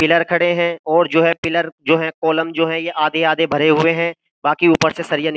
pillar खड़े हैं और जो है पिलर जो है कॉलम जो है ये आधे-आधे भरे हुए हैं बाकी ऊपर से सरिया --